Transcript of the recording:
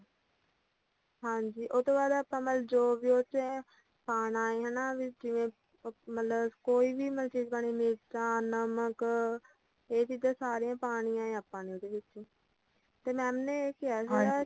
ਹਾਂਜੀ ਉਹਤੋਂ ਬਾਅਦ ਆਪਾਂ ਮਤਲੱਬ ਜੋ ਵੀ ਉਦੇਚ ਹੈ ਪਾਣਾ ਹਨਾਂ ਜਿਵੇਂ ਮਤਲੱਬ ਕੋਈ ਵੀ ਚੀਜ਼ ਪਾਨੀ ਹੁੰਦੀ ਤਾਂ ਨਮਕ ਇਹ ਚੀਜਾਂ ਸਾਰੀਆਂ ਪਾਣੀਆਂ ਆਪਾਂ ਨੇ ਉਹਦੇ ਵਿੱਚ ਤੇ mam ਨੇ ਇਹ ਕਿਹਾ ਸੀਗਾ